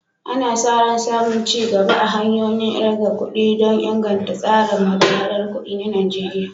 Ana sa ran samun ci gaba a hanyoyin ƙirga kuɗi don inganta tsarin haɗa-haɗar kuɗi na Najeriya.